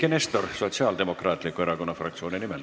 Eiki Nestor Sotsiaaldemokraatliku Erakonna fraktsiooni nimel.